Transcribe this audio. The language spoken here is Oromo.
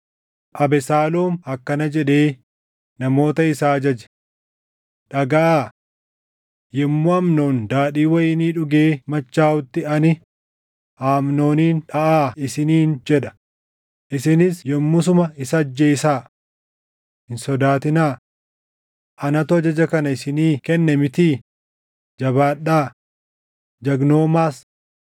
Abesaaloom akkana jedhee namoota isaa ajaje; “Dhagaʼaa! Yommuu Amnoon daadhii wayinii dhugee machaaʼutti ani, ‘Amnoonin dhaʼaa’ isiniin jedha; isinis yommuu suma isa ajjeesaa. Hin sodaatinaa. Anatu ajaja kana isinii kenne mitii? Jabaadhaa; jagnoomaas.”